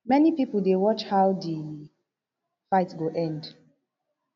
many pipo dey watch how di fight go end